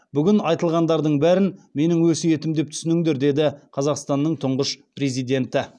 бүгін айтылғандардың бәрін менің өсиетім деп түсініңдер деді қазақстанның тұңғыш президенті